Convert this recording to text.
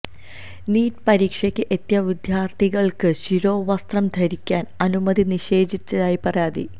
NEET പരീക്ഷക്ക് എത്തിയ വിദ്യാര്ഥിനികള്ക്ക് ശിരോവസ്ത്രം ധരിക്കാന് അനുമതി നിഷേധിച്ചതായി പരാതി